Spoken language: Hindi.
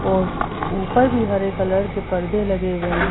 और ऊपर भी हरे कलर के पर्दे लगे हुए हैं।